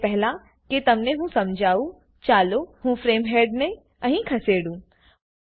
એ પહેલા કે તેમને હું સમજાવું ચાલો હું ફ્રેમ હેડને અહીં ખસેડું